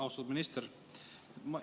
Austatud minister!